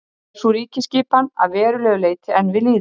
Er sú ríkjaskipan að verulegu leyti enn við lýði.